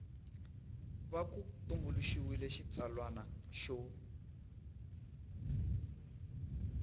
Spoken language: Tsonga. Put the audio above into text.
va ku tumbuluxiwile xitsalwana xo